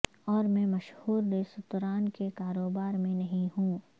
اور میں مشہور ریستوران کے کاروبار میں نہیں ہوں